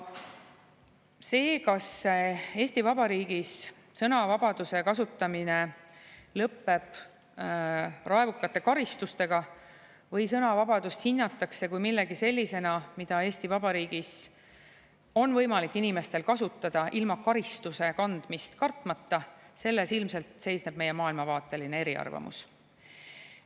Selles, kas Eesti Vabariigis sõnavabaduse kasutamine lõpeb raevukate karistustega või sõnavabadust hinnatakse millegi sellisena, mida Eesti Vabariigis on võimalik inimestel kasutada ilma karistuse kandmist kartmata, ilmselt seisneb meie maailmavaateline eriarvamus.